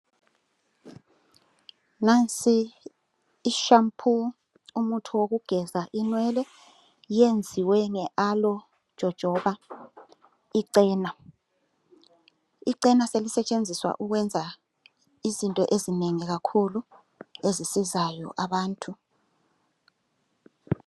Nansi I shampoo umuthi wokugeza inwele yenziwe nge aloe jojoba icena. Icena selisetshenziswa ukwenza izinto ezinengi kakhulu ezisizayo abantu